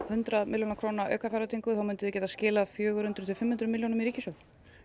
hundrað milljóna króna aukafjárveitingu gætuð þið skilað fjögur hundruð til fimm hundruð milljónum í ríkissjóð